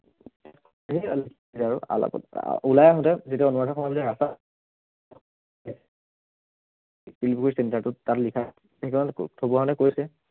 সেইয়া আৰু উলাই আহোতে যিটো অনুৰাধা শৰ্মা পূজাৰীৰ ৰাস্তা শিলপুখুৰী center টো তাত লিখা আছে সেইদিনাখন থব আহোতে কৈছে